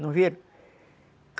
Não viram?